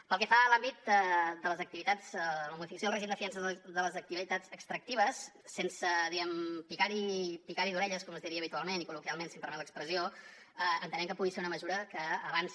pel que fa a l’àmbit de les activitats la modificació del règim de fiances de les activitats extractives sense diguem ne picar hi d’orelles com es diria habitualment i col·loquialment si em permet l’expressió entenem que pugui ser una mesura que avanci